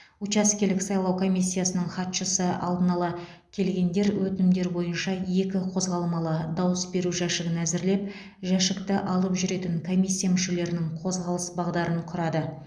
учаскелік сайлау комиссиясының хатшысы алдын ала келгендер өтінімдер бойынша екі қозғалмалы дауыс беру жәшігін әзірлеп жәшікті алып жүретін комиссия мүшелерінің қозғалыс бағдарын құрады